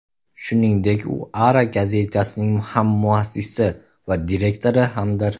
Shuningdek, u Ara gazetasining hammuassisi va direktori hamdir.